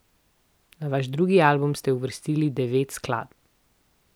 Na vaš drugi album ste uvrstili devet skladb.